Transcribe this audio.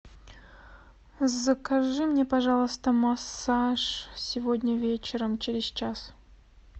закажи мне пожалуйста массаж сегодня вечером через час